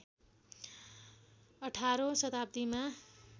१८ औँ शताब्दीमा